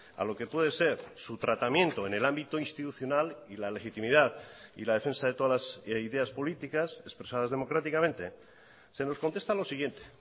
a lo que puede ser su tratamiento en el ámbito institucional y la legitimidad y la defensa de todas las ideas políticas expresadas democráticamente se nos contesta lo siguiente